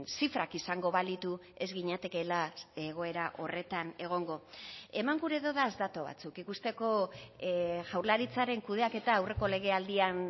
zifrak izango balitu ez ginatekeela egoera horretan egongo eman gure dodaz datu batzuk ikusteko jaurlaritzaren kudeaketa aurreko legealdian